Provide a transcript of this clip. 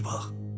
Bir bax.